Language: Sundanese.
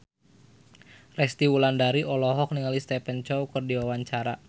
Resty Wulandari olohok ningali Stephen Chow keur diwawancara